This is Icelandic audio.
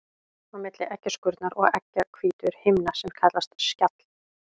Á milli eggjaskurnar og eggjahvítu er himna sem kallast skjall.